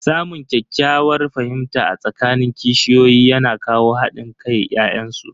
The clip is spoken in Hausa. Samun ƙyakkyawar fahimta a tsakanin kishiyoyi yana kawo hadin kan ya'yan su.